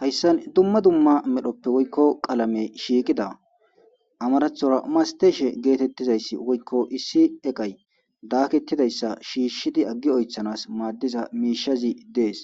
hayssan dumma dumma medhoppe woykko qalame shiiqida amarathora masteeshe geetettizayssi woykko issi eqay daaketidayssa shiishshidi aggi oythanas maaddiza miishazi dees